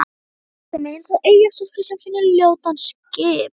Hún kyssir mig eins og eyjastúlka sem finnur ljótan skip